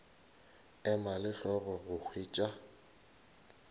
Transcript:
ema le hlogo go hwetša